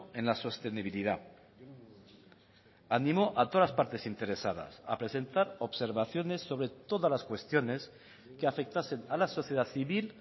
en la sostenibilidad animó a todas las partes interesadas a presentar observaciones sobre todas las cuestiones que afectasen a la sociedad civil